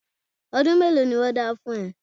Ọdún mélòó ni wọ́n dá fún ẹ?